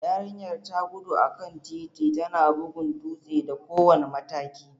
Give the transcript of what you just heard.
Yarinyar ta gudu a kan titi, tana bugun dutse da kowane mataki.